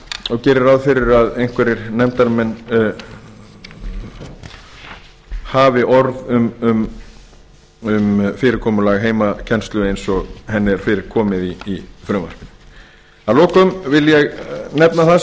og geri ráð fyrir að einhverjir nefndarmenn hafi orð um fyrirkomulag heimakennslu eins og henni er fyrir komið í frumvarpinu að lokum vil ég nefna það